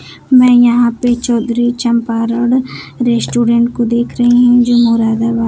मैं यहां पे चौधरी चंपारण रेस्टोरेंट को देख रही हुं जो मुरादाबाद--